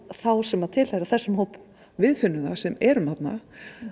þá sem tilheyra þessum hópum við finnum það sem erum þarna